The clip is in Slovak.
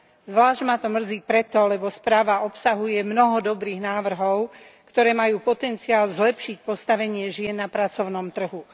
Zvlášť ma to mrzí pre to, lebo správa obsahuje mnoho dobrých návrhov, ktoré majú potenciál zlepšiť postavenie žien na pracovnom trhu.